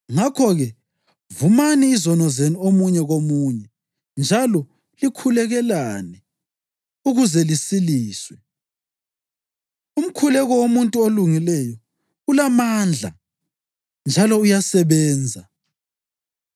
Ngakho-ke, vumani izono zenu omunye komunye njalo likhulekelane ukuze lisiliswe. Umkhuleko womuntu olungileyo ulamandla njalo uyasebenza.